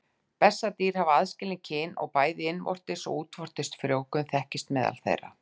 Bessadýr hafa aðskilin kyn og bæði innvortis og útvortis frjóvgun þekkist meðal þeirra.